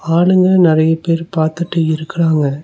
ஆளுங்க நெறைய பேர் பார்த்துட்டு இருக்குறாங்க.